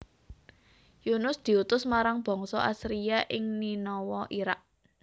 Yunus diutus marang bangsa Assyria ing Ninawa Iraq